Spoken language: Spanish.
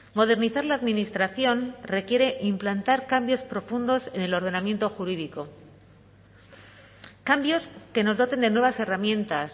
modernizar la administración requiere implantar cambios profundos en el ordenamiento jurídico cambios que nos doten de nuevas herramientas